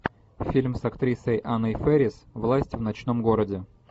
фильм с актрисой анной фэрис власть в ночном городе